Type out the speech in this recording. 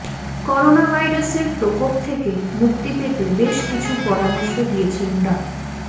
করোনাভাইরাসের প্রকোপ থেকে মুক্তি পেতে বেশ কিছু পরামর্শ দিয়েছেন ডা